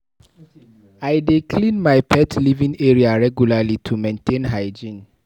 I dey clean my pet living area regularly to maintain hygiene.